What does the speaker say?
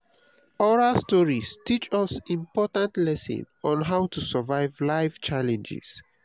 oral stories teach us important lessons on how to survive life challenges.